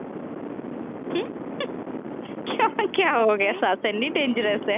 ਕਿਉਂ ਕਿਆ ਹੋ ਗਿਆ ਸੱਸ ਇੰਨੀ ਡੈਂਜਰਸ ਹੈ।